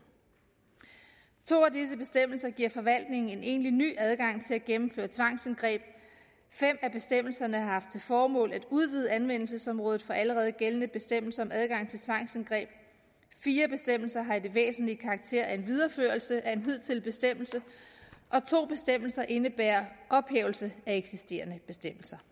to af disse bestemmelser giver forvaltningen en egentlig ny adgang til at gennemføre tvangsindgreb fem af bestemmelserne har haft til formål at udvide anvendelsesområdet for allerede gældende bestemmelser om adgang til tvangsindgreb fire bestemmelser har i det væsentlige karakter af en videreførelse af en hidtidig bestemmelse og to bestemmelser indebærer ophævelse af eksisterende bestemmelser